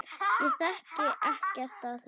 Ég þekki ekkert af þessu.